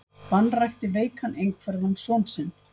Vanrækti veikan einhverfan son sinn